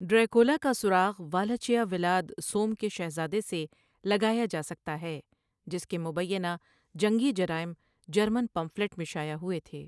Dracula کا سراغ Wallachia Vlad سوم کے شہزادے سے لگایا جا سکتا ہے، جس کے مبینہ جنگی جرائم جرمن پمفلٹ میں شائع ہوئے تھے۔